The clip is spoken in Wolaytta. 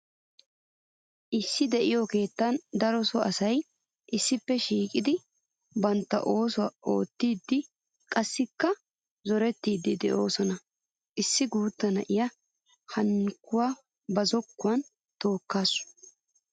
Issi de'iyo keettan daro so asay issippe shiiqiddi bantta oosuwa oottidde qassikka zorettiddi de'osonna. Issi guuta nayiya hankkuwa ba zokkuwan tookasu.